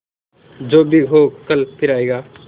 जो भी हो कल फिर आएगा